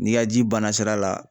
N'i ka ji banna sira la